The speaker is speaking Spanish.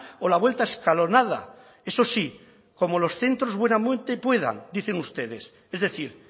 o la vuelta escalonada eso sí como los centros buenamente puedan dicen ustedes es decir